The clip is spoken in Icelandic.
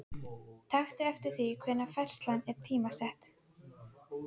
Taktu eftir því hvenær færslan er tímasett.